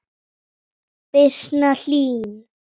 Birna Hlín.